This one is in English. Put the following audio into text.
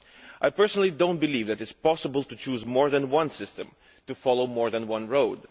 I personally do not believe that it is possible to choose more than one system and to follow more than one road.